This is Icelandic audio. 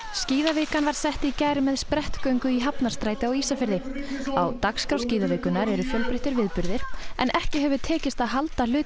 skíðavikan var sett í gær með sprettgöngu í Hafnarstræti á Ísafirði á dagskrá skíðavikunnar eru fjölbreyttir viðburðir en ekki hefur tekist að halda hluta